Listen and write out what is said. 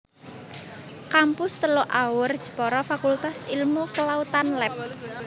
Kampus Teluk Awur Jepara Fakultas Ilmu Kelautan Lab